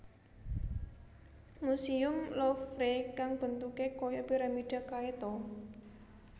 Musuem Louvre kan bentuke koyo piramida kae ta